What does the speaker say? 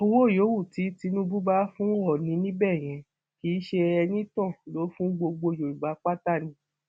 owó yòówù tí tínúbù bá fún òónì níbẹ yẹn kì ṣe enítàn ló fún gbogbo yorùbá pátá ni